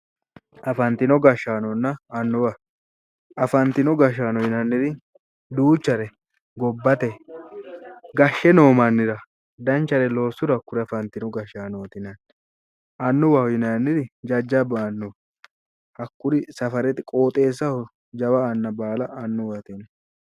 afantino gashshaanonna annuwa afantino gashshaano yinanniri duuchare gobbate gashshe noo mannira danchare loossuro hakkuri afantino gashshaanooti yinanni annuwaho yinanniniri jajjabba annuwaati hakkuri safarete qooxeessaho jawa anna baala annuwate yinanni.